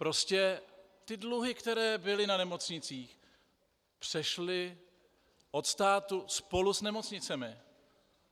Prostě ty dluhy, které byly na nemocnicích, přešly od státu spolu s nemocnicemi.